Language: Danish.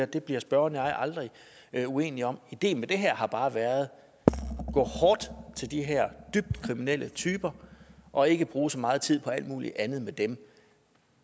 det bliver spørgeren og jeg aldrig uenige om ideen med det her har bare været at gå hårdt til de her dybt kriminelle typer og ikke bruge så meget tid på alt muligt andet med dem